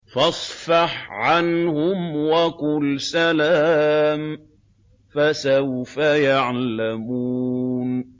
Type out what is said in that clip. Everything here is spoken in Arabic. فَاصْفَحْ عَنْهُمْ وَقُلْ سَلَامٌ ۚ فَسَوْفَ يَعْلَمُونَ